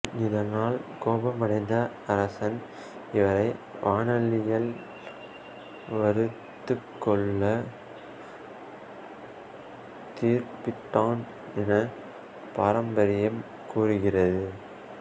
இதனால் கோபமடைந்த அரசன் இவரை வாணலியில் வறுத்துக் கொல்ல தீர்ப்பிட்டான் என பாரம்பரியம் கூறுகிறது